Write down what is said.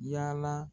Yala